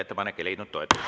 Ettepanek ei leidnud toetust.